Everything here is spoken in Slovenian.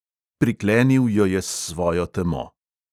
Priklenil jo je s svojo temo.